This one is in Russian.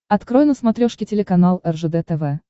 открой на смотрешке телеканал ржд тв